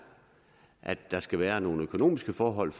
at der skal være nogle økonomiske forhold